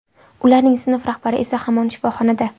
Ularning sinf rahbari esa hamon shifoxonada.